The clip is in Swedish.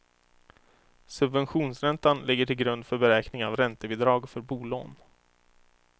Subventionsräntan ligger till grund för beräkning av räntebidrag för bolån.